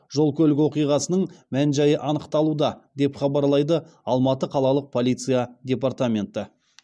жол көлік оқиғасының мән жайы анықталуда деп хабарлады алматы қалалық полиция департаменті